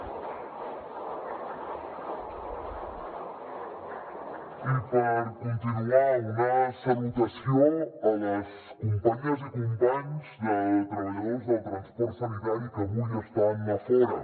i per continuar una salutació a les companyes i companys treballadors del transport sanitari que avui estan a fora